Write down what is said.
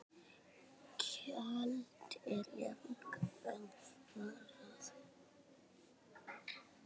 Köld eru jafnan kvenna ráð.